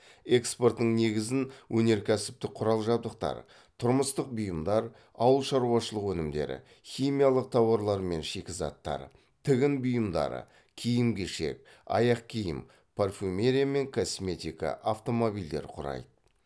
экспортының негізін өнеркәсіптік құрал жабдықтар тұрмыстық бұйымдар ауыл шаруашылық өнімдері химиялық тауарлар мен шикізаттар тігін бұйымдары киім кешек аяқ киім парфюмерия мен косметика автомобильдер құрайды